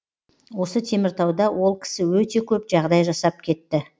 осы теміртауда ол кісі өте көп жағдай жасап кетті